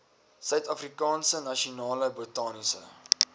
suidafrikaanse nasionale botaniese